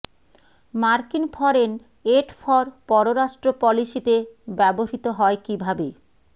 মার্কিন foreign aid for পররাষ্ট্র পলিসিতে ব্যবহৃত হয় কিভাবে